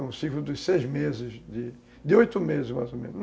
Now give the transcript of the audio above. É um ciclo de seis meses, de oito meses mais ou menos.